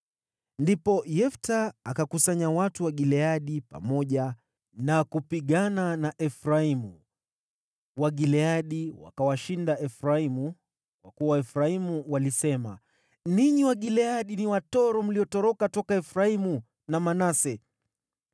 Ndipo Yefta akakusanya watu wa Gileadi pamoja na kupigana na Efraimu. Wagileadi wakawashinda Efraimu, kwa kuwa Waefraimu walisema, “Ninyi Wagileadi ni watoro mliotoroka toka Efraimu na Manase.”